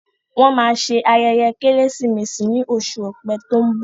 Wọn máa ṣe ayẹyẹ Kérésìmesì ni oṣù ọ̀pẹ tó ń bọ̀